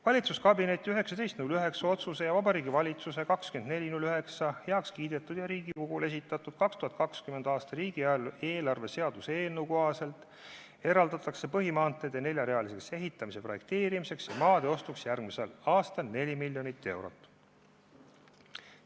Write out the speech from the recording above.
Valitsuskabineti 19. septembri otsuse ning Vabariigi Valitsuse 24. septembril heakskiidetud ja Riigikogule esitatud 2020. aasta riigieelarve seaduse eelnõu kohaselt eraldatakse põhimaanteede neljarealiseks ehitamise projekteerimiseks ja maade ostmiseks järgmisel aastal 4 miljonit eurot.